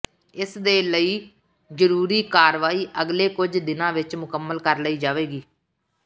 ਇਸ ਦੇ ਲਈ ਜ਼ਰੂਰੀ ਕਾਰਵਾਈ ਅਗਲੇ ਕੁੱਝ ਦਿਨਾਂ ਵਿਚ ਮੁਕੰਮਲ ਕਰ ਲਈ ਜਾਵੇਗੀ